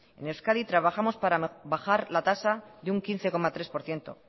en euskadi trabajamos para bajar la tasa de un quince coma tres por ciento